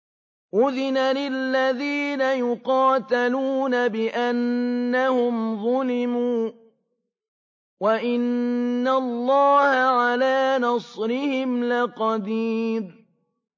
أُذِنَ لِلَّذِينَ يُقَاتَلُونَ بِأَنَّهُمْ ظُلِمُوا ۚ وَإِنَّ اللَّهَ عَلَىٰ نَصْرِهِمْ لَقَدِيرٌ